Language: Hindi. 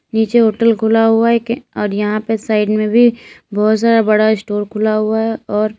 नीचे होटल खुला हुआ है एक और यहां पे साइड में भी बहुत सारा बड़ा स्टोर खुला हुआ है और--